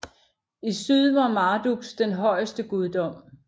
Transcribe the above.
I syd var Marduks den højeste guddom